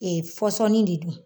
fɔsɔni de don.